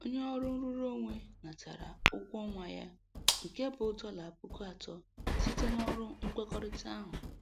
Onye ọrụ nrụrụonwe natara ụgwọ ọnwa ya nke bụ dọla puku atọ site n'ọrụ nkwekọrịta ahụ.